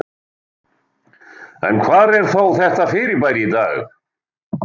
Bjartara yfir í snjónum á Austurlandi